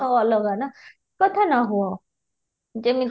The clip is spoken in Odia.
ଅଲଗା ନା କଥା ନ ହୁଅ ଯେମିତି